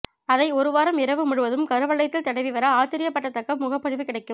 அதை ஒரு வாரம் இரவு முழுவதும் கருவளையத்தில் தடவி வர ஆச்சரியப்படத்தக்க முகப்பொழிவு கிடைக்கும்